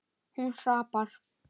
Hún hrapar.